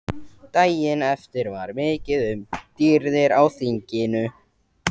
Daginn eftir var mikið um dýrðir á þinginu.